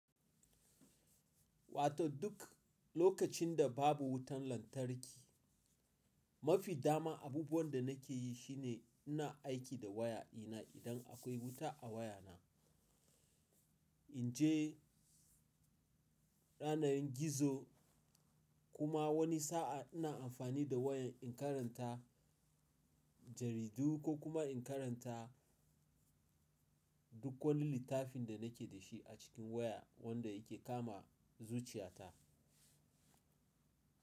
Wato duk lokacin da babu wutan lantarki, mafi dama abubuwan da nake yi shine ina aiki da waya ina idan akwai wuta a wayana. In je yanar gizo kuma wani sa'a ina amfani da wayan in karanta jaridu ko kuma in karanta duk wani littafin da nake da shi a cikin waya wanda yake kama zuciyata.